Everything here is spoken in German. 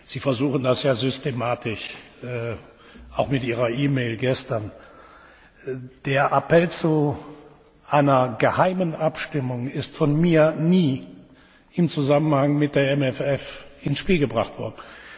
Sie versuchen das ja systematisch, auch mit Ihrer E Mail gestern. Der Appell zu einer geheimen Abstimmung ist von mir nie im Zusammenhang mit dem MFR ins Spiel gebracht worden.